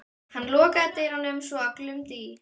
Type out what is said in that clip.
Hann lokaði dyrunum svo að glumdi í.